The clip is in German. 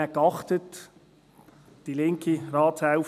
Ich achtete nachher darauf: